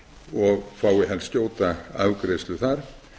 og fái helst skjóta afgreiðslu þar